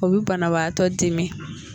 O bɛ banabaatɔ dimi.